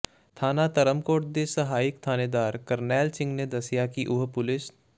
ਥਾਣਾ ਧਰਮਕੋਟ ਦੇ ਸਹਾਇਕ ਥਾਣੇਦਾਰ ਕਰਨੈਲ ਸਿੰਘ ਨੇ ਦੱਸਿਆ ਕਿ ਉਹ ਪੁਲਿਸ